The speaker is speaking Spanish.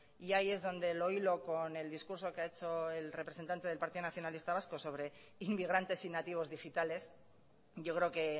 y ahí es donde lo hilo con el discurso que ha hecho el representante del partido nacionalista vasco sobre inmigrantes y nativos digitales yo creo que